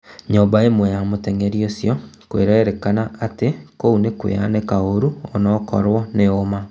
Nyũmba ĩmwe ya mũteng'eri ũcio kũrerĩkana atĩ kũu nĩkwayanĩka kũru onakorwo nĩ uuma